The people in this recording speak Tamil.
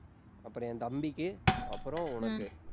அப்புறம் என் தம்பிக்கு அப்புறம் உனக்கு